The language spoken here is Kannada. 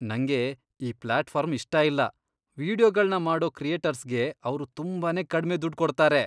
ನಂಗೆ ಈ ಪ್ಲಾಟ್ಫಾರ್ಮ್ ಇಷ್ಟ ಇಲ್ಲ. ವೀಡಿಯೊಗಳ್ನ ಮಾಡೋ ಕ್ರಿಯೇಟರ್ಸ್ಗೆ ಅವ್ರು ತುಂಬಾನೇ ಕಡ್ಮೆ ದುಡ್ಡ್ ಕೊಡ್ತಾರೆ.